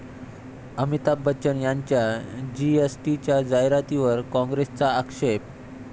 अमिताभ बच्चन यांच्या जीएसटीच्या जाहिरातीवर काँग्रेसचा आक्षेप